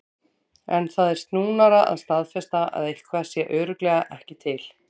En það er snúnara að staðfesta að eitthvað sé örugglega ekki til.